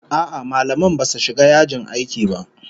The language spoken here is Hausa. A'a, mallaman basu shiga yajin aiki ba